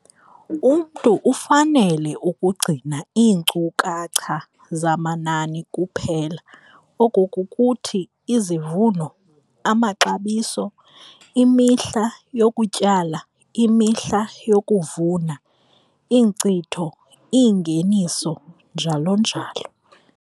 Umntu ufanele ukugcina iinkcukacha zamanani kuphela, oko kukuthi, izivuno, amaxabiso, imihla yokutyala, imihla yokuvuna, iinkcitho, iingeniso, njalo njalo.